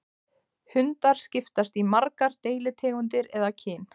Hundar skiptast í margar deilitegundir eða kyn.